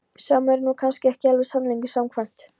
Sem er nú kannski ekki alveg sannleikanum samkvæmt.